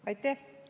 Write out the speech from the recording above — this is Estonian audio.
Aitäh!